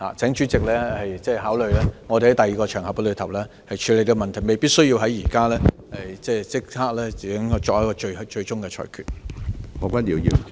請主席考慮我們在另一個場合處理這個問題，未必需要現時立即作出最終的裁決。